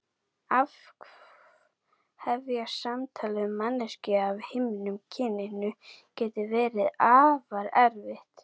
Að hefja samtal við manneskju af hinu kyninu getur verið afar erfitt.